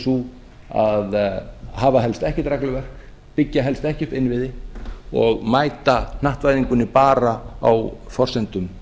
sú að hafa helst ekkert regluverk byggja helst ekkert innviði og mæta hnattvæðingunni bara á forsendum